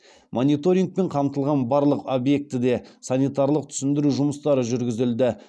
мониторингпен қамтылған барлық объектіде санитарлық түсіндіру жұмыстары жүргізілді